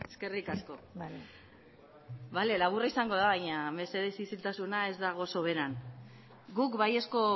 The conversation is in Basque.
eskerrik asko bale laburra izango da baina mesedez isiltasuna ez dago soberan guk baiezko